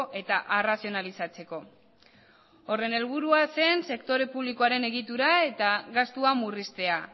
eta arrazionalizatzeko horren helburua zen sektore publikoaren egitura eta gastua murriztea